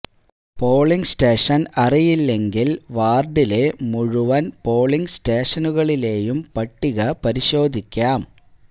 polling station അറിയില്ലെങ്കിൽ വാർഡിലെ മുഴുവൻ പോളിങ് സ്റ്റേഷനുകളിലെയും പട്ടിക പരിശോധിക്കാം